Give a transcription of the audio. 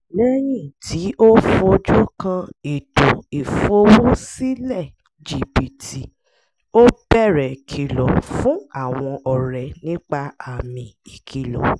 lẹ́yìn tí ó fojú kàn ètò ìfowó-sí-lẹ̀ jibítì ó bẹ̀rẹ̀ kìlọ̀ fún àwọn ọ̀rẹ́ nípa àmì ìkìlọ̀